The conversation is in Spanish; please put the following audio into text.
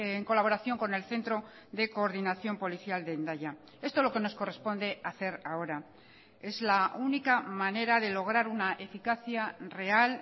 en colaboración con el centro de coordinación policial de hendaya esto es lo que nos corresponde hacer ahora es la única manera de lograr una eficacia real